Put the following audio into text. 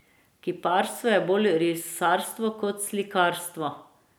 Kiparstvo je bolj risarsko kot slikarstvo.